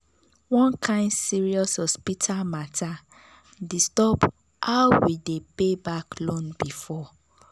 one kain serious hospital matter disturb how we dey pay back loan before.